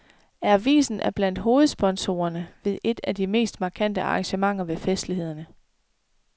Avisen er blandt hovedsponsorerne ved et af de mest markante arrangementer ved festlighederne.